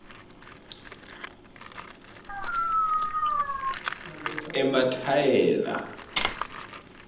emathayela